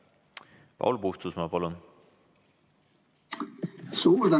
Paul Puustusmaa, palun!